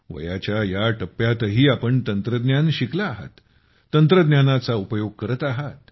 वयाच्या या टप्प्यातही आपण तंत्रज्ञान शिकला आहात तंत्रज्ञानाचा उपयोग करत आहात